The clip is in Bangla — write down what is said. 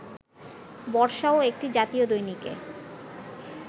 বর্ষাও একটি জাতীয় দৈনিকে